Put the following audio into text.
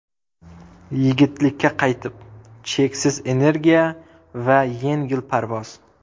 Yigitlikka qaytib: cheksiz energiya va yengil parvoz.